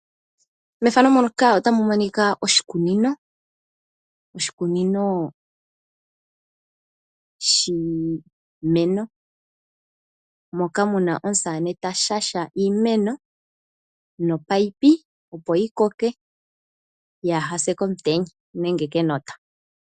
Mefano muka otamu monika oshikunino, oshikunino shiimeno. Moka muna omusane ta shasha iimeno nopipe opo yi koke yaahase komutenya nenge kenota.